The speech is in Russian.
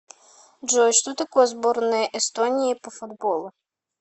джой что такое сборная эстонии по футболу